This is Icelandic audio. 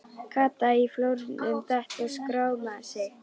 Kata í flórnum, datt og skrámaði sig.